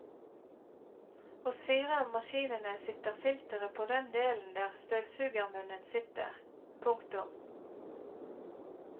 Hos fire av maskinene sitter filteret på den delen der støvsugermunnen sitter. punktum